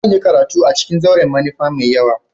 Zan yi karatu a ciƙin zauren manufa mai yawa.